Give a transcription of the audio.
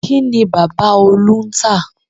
Kín ni bàbá Olú ń tà?